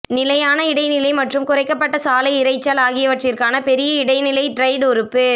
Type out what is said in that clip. நிலையான இடைநிலை மற்றும் குறைக்கப்பட்ட சாலை இரைச்சல் ஆகியவற்றிற்கான பெரிய இடைநிலை டிரைடு உறுப்பு